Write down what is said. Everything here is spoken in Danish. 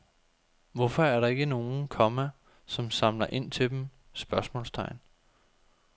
Hvorfor er der ikke nogen, komma som samler ind til dem? spørgsmålstegn